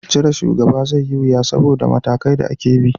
Cire shugaba zai yi wuya saboda matakai da ake bi